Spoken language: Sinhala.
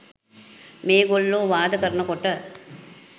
මේගොල්ලෝ වාද කරනකොට